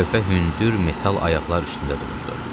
Lövhə hündür metal ayaqlar üstündə dururdu.